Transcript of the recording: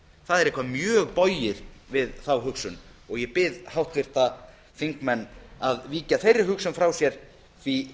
það er eitthvað mjög bogið við þá hugsun ég bið háttvirta þingmenn að víkja þeirri hugsun frá sér því